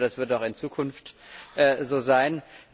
Ich hoffe, das wird auch in Zukunft so sein.